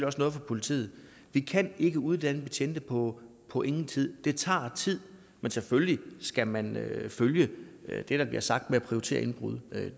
også noget for politiet vi kan ikke uddanne betjente på på ingen tid det tager tid men selvfølgelig skal man følge det der bliver sagt med at prioritere indbrud